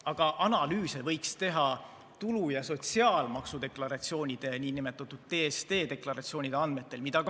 Aga analüüse võiks teha tulu- ja sotsiaalmaksu deklaratsioonide, nn TSD-deklaratsioonide andmete põhjal.